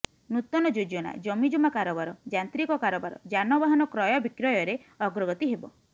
ନୂତନ ଯୋଜନା ଜମିଜମା କାରବାର ଯାନ୍ତ୍ରିକ କାରବାର ଯାନବାହନ କ୍ରୟ ବିକ୍ରୟରେ ଅଗ୍ରଗତି ହେବ